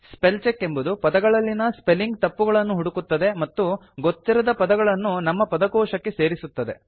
spell check ಎಂಬುದು ಪದಗಳಲ್ಲಿನ spelling ತಪ್ಪುಗಳನ್ನು ಹುಡುಕುತ್ತದೆ ಮತ್ತು ಗೊತ್ತಿರದ ಪದಗಳನ್ನು ನಮ್ಮ ಪದಕೋಶಕ್ಕೆ ಸೇರಿಸುತ್ತದೆ